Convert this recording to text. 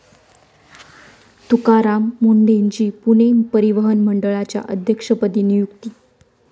तुकाराम मुंढेंची पुणे परिवहन मंडळाच्या अध्यक्षपदी नियुक्ती